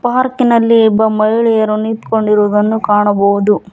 ಪಾರ್ಕಿನಲ್ಲಿ ಒಬ್ಬ ಮಹಿಳೆಯರು ನಿಂತ್ಕೊಂಡಿರುದನ್ನು ಕಾಣಬಹುದು.